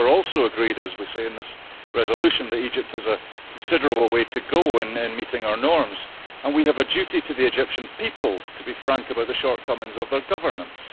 I think we are also agreed, as we say in this resolution, that Egypt has a considerable way to go in meeting our norms, and we have a duty to the Egyptian people to be frank about the shortcomings in their governance.